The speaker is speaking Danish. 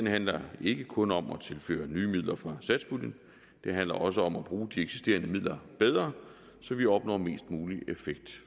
handler ikke kun om at tilføre nye midler fra satspuljen men også om at bruge de eksisterende midler bedre så vi opnår mest mulig effekt